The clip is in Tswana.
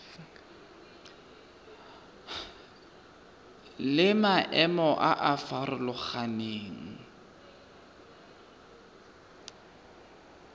le maemo a a farologaneng